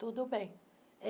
Tudo bem.